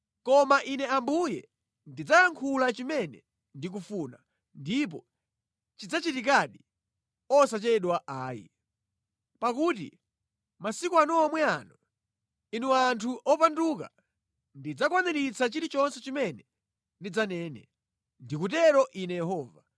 Koma Ine Ambuye ndidzayankhula chimene ndikufuna, ndipo chidzachitikadi, osachedwa ayi. Pakuti mʼmasiku anu omwe ano, inu anthu opanduka, ndidzakwaniritsa chilichonse chimene ndidzanena. Ndikutero Ine Yehova.’ ”